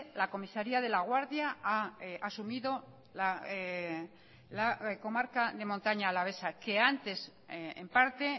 la comisaría de laguardia ha asumido la comarca de montaña alavesa que antes en parte